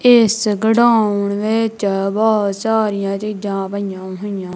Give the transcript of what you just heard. ਇਸ ਗੜਾਉਂਡ ਵਿੱਚ ਬਹੁਤ ਸਾਰੀਆਂ ਚੀਜ਼ਾਂ ਪਈਆਂ ਹੋਈਆਂ--